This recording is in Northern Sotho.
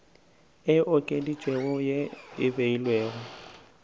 e okeditšwego ye e beilwego